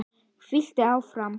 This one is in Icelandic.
Þvílíkt áfall.